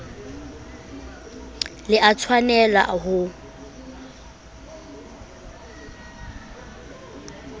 le a tshwanel a ho